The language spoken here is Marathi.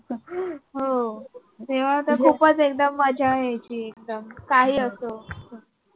हो तेव्हा तर खूपच एकदम मज्जा यायची एकदम काहीही असो.